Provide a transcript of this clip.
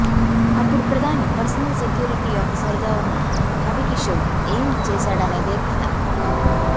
అప్పుడు ప్రధాని personal security officer గా ఉన్న రవికిశోర్ ఏం చేశాడనేదే కథ